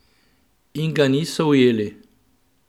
In ga niso ujeli?